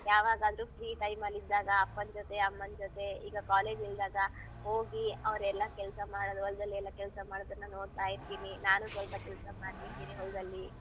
ಯಾವಗಾದ್ರು free time ಅಲ್ ಇದ್ದಾಗ ಅಪ್ಪನ್ ಜೊತೆ ಅಮ್ಮನ್ ಜೊತೆ ಈಗ college ಇಲ್ದಾಗ ಹೋಗಿ ಅವ್ರ್ ಎಲ್ಲಾ ಕೆಲ್ಸ ಮಾಡೋದು ಹೊಲ್ದಲ್ ಎಲ್ಲಾ ಕೆಲ್ಸ ಮಾಡೋದನ್ನ ನೋಡ್ತಾ ಇರ್ತೀನಿ ನಾನು ಸೊಲ್ಪ ಕೆಲ್ಸ ಮಾಡ್ತಿರ್ತೀನಿ ಹೊಲ್ದಲ್ಲಿ.